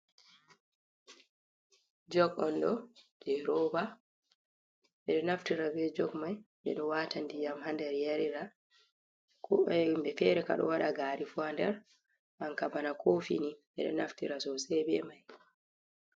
Jog ondo je roba bedo naftira be jog mai bedo wata diyam hander yarira himbe fere kado wada gari ha nder anka bana kofini beda naftira sosei be mai.